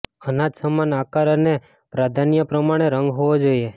અનાજ સમાન આકાર અને પ્રાધાન્ય પ્રમાણે રંગ હોવો જોઈએ